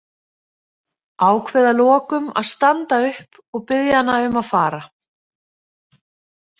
Ákveð að lokum að standa upp og biðja hana um að fara.